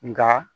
Nka